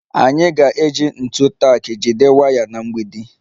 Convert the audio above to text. Anyị ga-eji ntu tak jide waya na mgbidi